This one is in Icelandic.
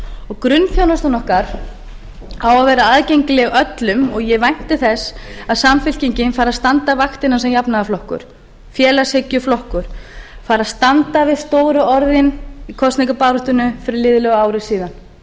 og grunnþjónustan okkar á að vera aðgengileg öllum og ég vænti þess að samfylkingin fari að standa vaktina sem jafnaðarflokkur félagshyggjuflokkur fari að standa við stóru orðin í kosningabaráttunni fyrir liðlega ári síðan